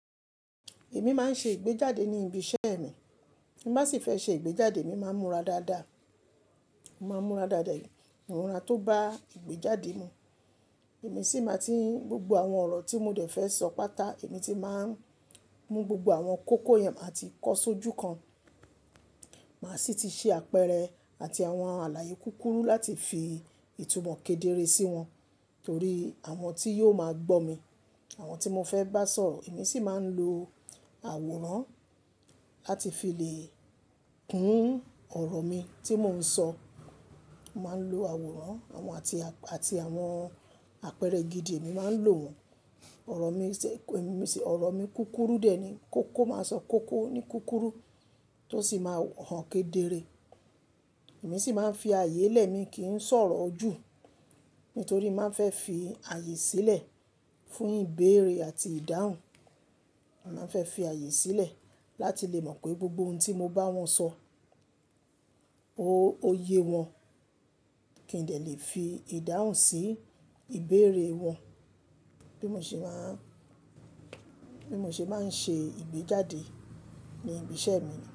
Èmi máa ń ṣe ìgbéjáde ní ibi iṣẹ́ mi. Bí màá sì fẹ́ ṣe ìgbéjáde, èmi máa ń múra dáadáa. Mo máa ń múra dáadáa, múra tó bá ìgbéjáde mu. Èmi sì máa tí gbogbo àwọn ọ̀rọ̀ tí mo dẹ̀ fẹ́ sọ páta, èmi ti máa ń mú gbogbo àwọn kókó yẹn máa ti kó sójú kan. Màá sì ti ṣí àpẹẹrẹ àti àwọn àlàyé kúkúrú láti fi ìtumọ̀ kedere sí wọn. Nítorí àwọn tí yóò máa gbọ́ mi, àwọn tí mo fẹ́ bá sọ̀rọ̀, èmi sì máa ń lo àwòrán láti fi lè kún ọ̀rọ̀ mi tí mò ń sọ. Mo máa ń lo àwòrán àwọn àti, àti àwọn àpẹẹrẹ gidi mi máa ń lò wọ́n. Ọ̀rọ̀ mi ṣẹ̀, èmi ṣẹ̀, ọ̀rọ̀ mi kúkúrú dè ẹ́ ni. Kókó máa sọ kókó ní kúkúrú tó sì máa hàn kedere. Èmi sì máa ń fi ààyè lẹ̀, èmi kì í ń sọ̀rọ̀ jù. Nítorí máa fẹ́ fi ààyè sílẹ̀ fún ìbéèrè àti ìdáhùn. Màá fẹ́ fi ààyè sílẹ̀ láti lè mọ̀ pé gbogbo ohun tí mo bá wọn sọ, ó, ó ye wọn kí n lè fi ìdáhùn sí ìbéèrè wọn. Bí mo ṣe máa ń, bí mo ṣe máa ń ṣe ìgbéjáde ní ibi iṣẹ́ mi ni.